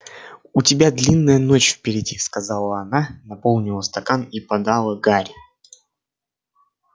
у тебя длинная ночь впереди сказала она наполнила стакан и подала гарри